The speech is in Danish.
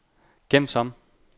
gem som